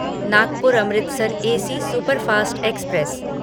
Nagpur Amritsar AC superfast express